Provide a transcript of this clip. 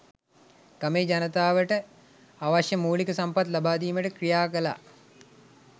ගමේ ජනතාවට අවශ්‍ය මූලික සම්පත් ලබාදීමට ක්‍රියාකළා.